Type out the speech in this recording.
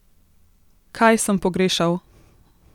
Kaj sem pogrešal?